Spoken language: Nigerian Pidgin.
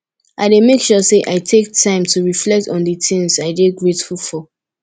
i dey make sure say i take time to reflect on di things i dey grateful for